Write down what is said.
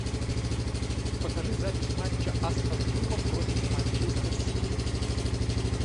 покажи запись матча астон вилла против манчестер сити